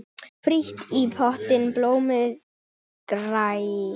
Frítt í potti blómið grær.